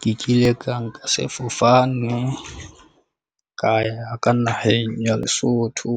Ke kile ka nka sefofane ka ya ka naheng ya Lesotho,